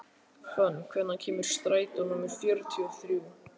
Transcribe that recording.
Fönn, hvenær kemur strætó númer fjörutíu og þrjú?